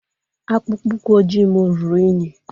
Akpụkpọ ụkwụ ojii m ruru unyi.